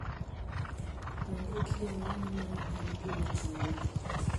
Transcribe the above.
Onge kiawa ni mano en gima chando ji.